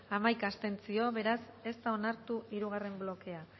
hamaika abstentzio beraz ez da onartu hirugarren blokea